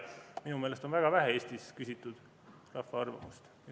Minu meelest on Eestis väga vähe küsitud rahva arvamust.